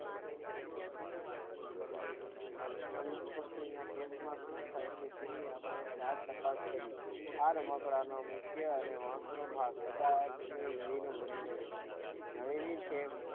પવન કુંજી નો case ન સમજાય તો તેને આપણે જાત તપાસ કરી આ રમકડાં નો મુખ્ય અને મહત્વ નો આ સજાવટ છે વિવિધ દ્રવ્ય છે નવિલિન છે